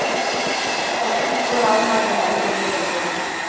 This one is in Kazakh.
қашып құтыла алмады мәнсіз өмірден